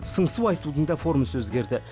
сыңсу айтудың да формасы өзгерді